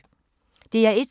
DR1